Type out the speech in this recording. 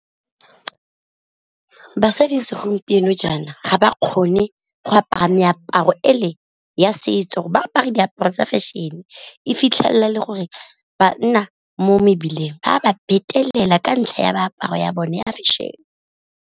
Basadi segompieno jaana ga ba kgone go apara meaparo e le ya setso ba apara diaparo tsa fashion, e fitlhelela e le gore banna mo mebileng ba ba phetelela ka ntlha ya meaparo ya bone ya fashion.